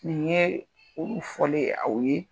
Nin ye olu fɔlen aw ye.